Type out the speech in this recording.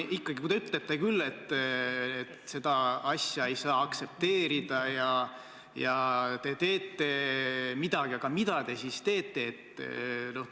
Te ütlete küll, et seda asja ei saa aktsepteerida ja te teete midagi, aga mida te siis teete?